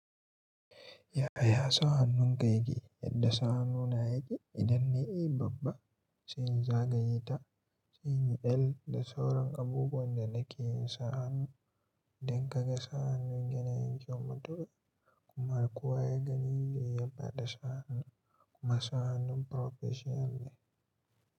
Yaya sa hannunka yake yadda sa hannu na yake? Idan nayi A babba, sai in zagaye ta, sai in yi L da sauran abubuwan da nake yin sa hannu don ka ga sa hannun yana yin kyau mutuka. Kuma kuwa ya gani zai yaba da sa hannun, kuma sa hannun professional ne.